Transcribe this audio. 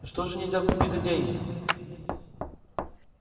что же нельзя купить за деньги